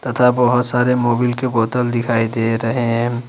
तथा बहुत सारे मोबिल के बोतल दिखाई दे रहे हैं।